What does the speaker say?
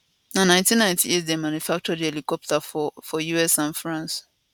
na 1998 dem manufacture di helicopter for us and france